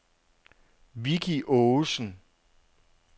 Vicki Aagesen